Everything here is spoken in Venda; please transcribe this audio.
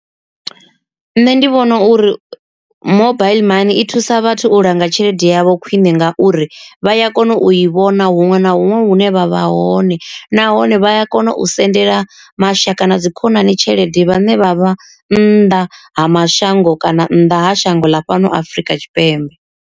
Nṋe ndi vhona uri mobaiḽi mani i thusa vhathu u langa tshelede yavho khwine ngauri vha ya kona u i vhona huṅwe na huṅwe hune vha vha hone, nahone vha ya kona u sendela mashaka na dzi khonani tshelede vhane vha vha nnḓa ha mashango kana nnḓa ha shango ḽa fhano Afrika Tshipembe.